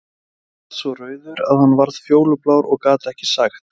Nonni varð svo rauður að hann varð fjólublár og gat ekkert sagt.